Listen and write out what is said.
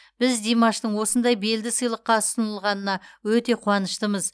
біз димаштың осындай белді сыйлыққа ұсынылғанына өте қуаныштымыз